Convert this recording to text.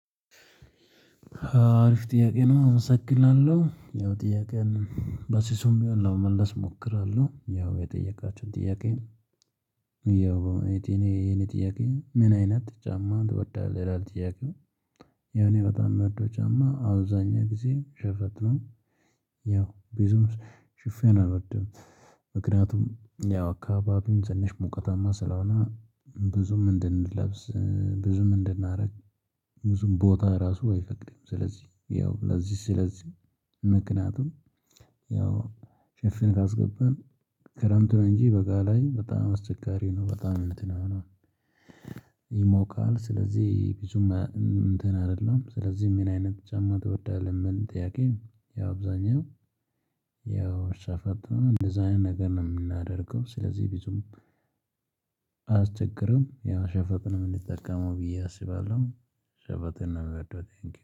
አሪፍ ጥያቄ ነው አመሰግናለ። ያው ጥያቄውን በስሱም ቢሆን ለመመለስ እሞክራለሁ። ያው የጠየቃችሁን ጥያቄ ያው የኔ የኔ ጥያቄ ምን አይነት ጫማ ትወዳለ? ይላል ጥያቄው የኔ በጣም የምወደው ጫማ አብዛኛው ጊዜ ሸፈት ነው። ያው ቢዙም ሽፍን አልወድም ምክንያቱም ያው አካባቢውን ትንሽ ሙቀታማ ስለሆነ ብዙም እንድንለብስ ብዙም እንድናደርግ ብዙም ቦታ ራሱ አይፈቅድም። ስለዚህ ያው ለዚህ ስለዚህ ምክንያቱም ያው ሽፍን ካስገባን ክረምቱ እንጂ በጋ ላይ በጣም አስቸጋሪ ነው በጣም እንትን ይሆና። ይሞቃል ስለዚህ ብዙም እንትን አይደለም። ስለዚህ ምን አይነት ጫማ ትወዳለህ? ምን ጥያቄ ያብዛኛው አብዛኛው ያው ሻፈርታ እንደዛ አይነት ነገር ነው የምናደርገው ስለዚህ ቢዙም አስቸግርም ያው ሸፈትንም እምንጠቀመው ብዬ አስባለሁ ሸፈትን ነው ምወደው እኔ እንግዲህ